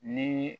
Ni